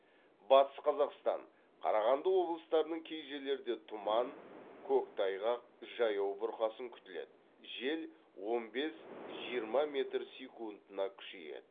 батыс қазақстан қарағанды облыстарының кей жерлерде тұман көктайғақ жаяу бұрқасын күтіледі жел он бес жиырма метр секундына күшейеді